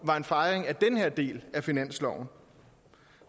var en fejring af den her del af finansloven